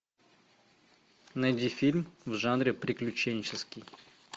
найди фильм в жанре приключенческий